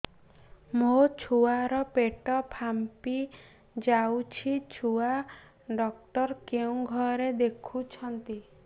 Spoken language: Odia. ମୋ ଛୁଆ ର ପେଟ ଫାମ୍ପି ଯାଉଛି ଛୁଆ ଡକ୍ଟର କେଉଁ ଘରେ ଦେଖୁ ଛନ୍ତି